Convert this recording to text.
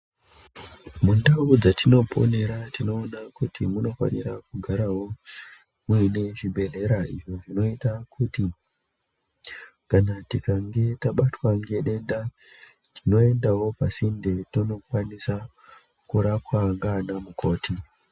Mundau dzetinoponera tinoona kuti munofanira kugarawo muine zvibhedhlera izvo zvinoita kuti kana tikange tabatwa ngedenda tinoendawo pasinde tonokwanisa kurapwa nanamukoti.